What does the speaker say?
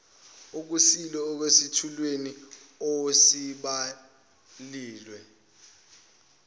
okushilo esethulweni osibhalile